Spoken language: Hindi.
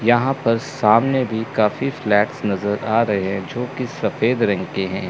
यहां पर सामने भी काफी फ्लैट्स नजर आ रहे जो की सफेद रंग के हैं।